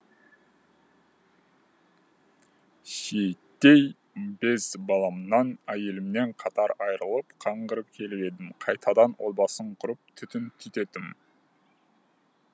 шиеттей бес баламнан әйелімнен қатар айырылып қаңғырып келіп едім қайтадан отбасын құрып түтін түтеттім